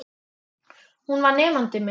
Hún var nemandi minn.